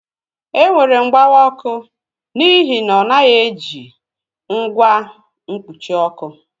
Enwere mgbawa ọkụ n'ihi na ọ naghị eji ihe na ọ jighị ngwa mkpuchi ọkụ